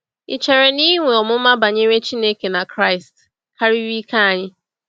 Ị̀ chere na inwe ọmụma banyere Chineke na Kraịst karịrị ike anyị?